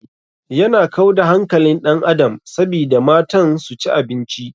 Yana kau da hankalin ɗan adam sabida matan su ci abinci.